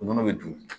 U nɔnɔ bɛ dun